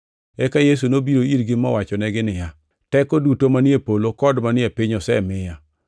Eka Yesu nobiro irgi mowachonegi niya, “Teko duto manie polo kod manie piny osemiya.